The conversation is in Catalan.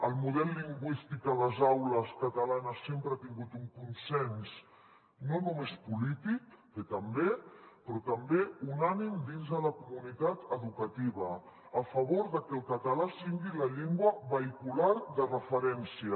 el model lingüístic a les aules catalanes sempre ha tingut un consens no només polític que també però també unànime dins de la comunitat educativa a favor que el català sigui la llengua vehicular de referència